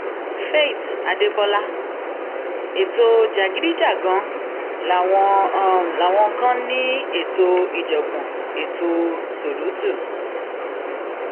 faith adébọlá ètò jàgídíjàgan làwọn làwọn kan ní ètò ìjàngbọn ètò ṣùrùtù